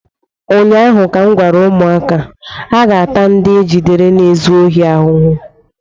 ụnyaahụ ka m gwara ụmụaka, aga-ata ndị ejidere na-ezu ohi ahụhụ!